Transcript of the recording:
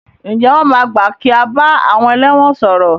Ǹjẹ́ wọn máa gbà kí a bá àwọn ẹlẹ́wọ̀n sọ̀rọ̀?